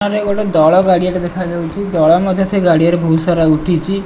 ସାମନାରେ ରେ ଗୋଟେ ଦଳ ଗାଡ଼ିଆ ଟେ ଦେଖାଯାଉଚି ଦଳ ମଧ୍ୟ ସେ ଗାଡ଼ିଆରେ ବୋହୁତ ସାରା ଉଠିଚି।